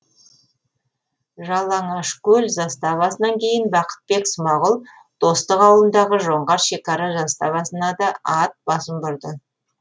жалаңашкөл заставасынан кейін бақытбек смағұл достық ауылындағы жоңғар шекара заставасына да ат басын бұрды